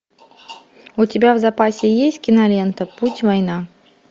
у тебя в запасе есть кинолента путь война